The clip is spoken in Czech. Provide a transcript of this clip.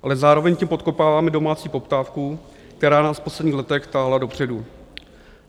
Ale zároveň tím podkopáváme domácí poptávku, která nás v posledních letech táhla dopředu.